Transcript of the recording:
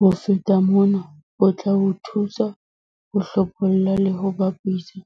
Ho feta mona, o tla o thusa ho hlopholla le ho bapisa